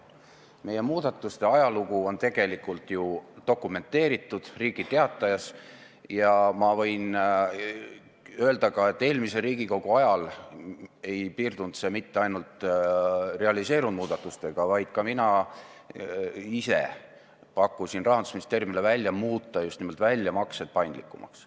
Meie muudatuste ajalugu on tegelikult ju Riigi Teatajas dokumenteeritud ja ma võin öelda ka seda, et eelmise Riigikogu koosseisu ajal ei piirdunud see mitte ainult realiseerunud muudatustega, vaid ka mina ise tegin Rahandusministeeriumile ettepaneku muuta just nimelt väljamaksed paindlikumaks.